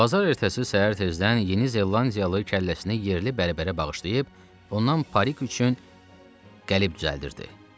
Bazar ertəsi səhər tezdən Yeni Zelandiyalı kəlləsini yerli bərbərə bağışlayıb, ondan parik üçün qəlib düzəltdirdi.